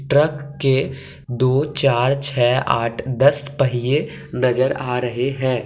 Truck के दो चार छ आठ दस पहिए नजर आ रहे हैं।